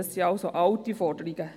Es sind also alte Forderungen.